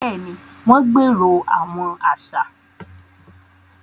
Béèni, wọn gbero awọn aṣa